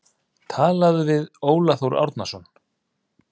Talað við Óla Þór Árnason.